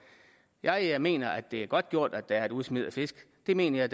jeg jeg mener det er godtgjort at der er et udsmid af fisk det mener jeg